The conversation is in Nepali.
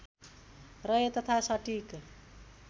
रहे तथा सटिक